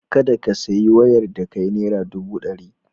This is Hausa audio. Kada ka sayi wayar da kai naira dubu ɗari.